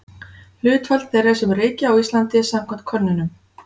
Hlutfall þeirra sem reykja á Íslandi samkvæmt könnunum.